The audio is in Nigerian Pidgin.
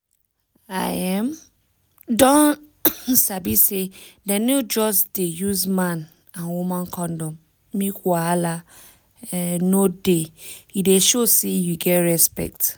i um don sabi say dem no just dey use man and woman condom make wahala um no dey e dey show say you get respect